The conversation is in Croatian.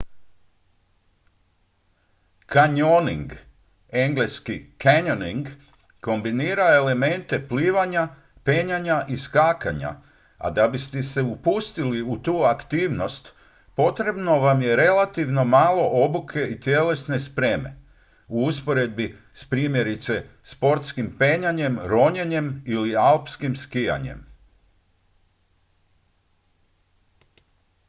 kanjoning eng. canyoning kombinira elemente plivanja penjanja i skakanja a da biste se upustili u tu aktivnost potrebno vam je relativno malo obuke i tjelesne spreme u usporedbi s primjerice sportskim penjanjem ronjenjem ili alpskim skijanjem